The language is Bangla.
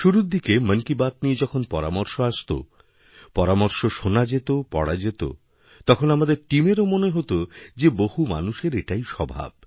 শুরুর দিকে মন কি বাত নিয়ে যখন পরামর্শ আসত পরামর্শশোনা যেত পড়া যেত তখন আমাদের টিমেরও মনে হত যে বহু মানুষের এটাই স্বভাব